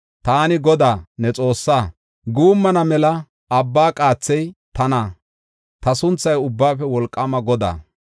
“Taani Godaa, ne Xoossaa; guummana mela abba qaathey tana; ta sunthay Ubbaafe Wolqaama Godaa.